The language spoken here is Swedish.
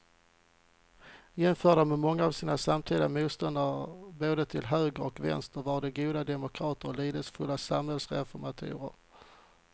Jämförda med många av sina samtida motståndare både till höger och vänster var de goda demokrater och lidelsefulla samhällsreformatorer.